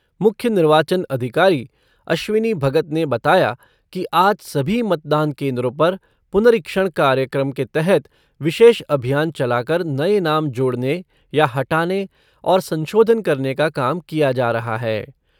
मुख्य निर्वाचन अधिकारी अश्विनी भगत ने बताया कि आज सभी मतदान केन्द्रों पर पुनरीक्षण कार्यक्रम के तहत विशेष अभियान चलाकर नये नाम जोड़ने या हटाने और संशोधन करने का काम किया जा रहा है।